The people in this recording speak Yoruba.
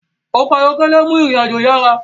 ọkọ̀ ayọ́kẹ́lẹ́ nmú ìrìn àjò yará